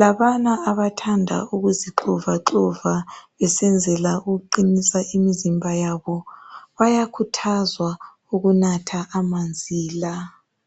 .Labana abathanda ukuzixovaxova besenzela ukuqinisa imzimba yabo .Bayakhuthazwa ukunatha amanzi la .